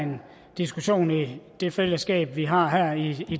en diskussion i det fællesskab vi har her i